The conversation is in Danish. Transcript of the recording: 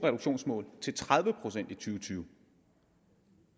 tusind og tyve